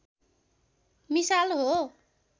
मिसाल हो